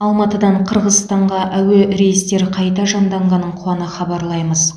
алматыдан қырғызстанға әуе рейстері қайта жанданғанын қуана хабарлаймыз